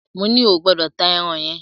Moní o gbọ́dọ̀ ta ẹran yẹn!